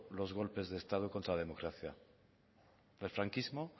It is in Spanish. los golpes de estado contra la democracia el franquismo